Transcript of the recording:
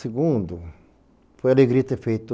Segundo, foi alegria ter feito